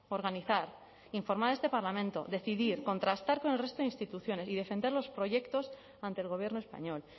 organizar informar a este parlamento decidir contrastar con el resto de instituciones y defender los proyectos ante el gobierno español